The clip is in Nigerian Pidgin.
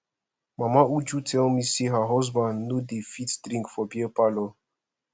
mama uju tell me say her husband no dey fit drink for beer parlor